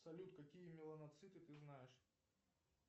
салют какие меланоциты ты знаешь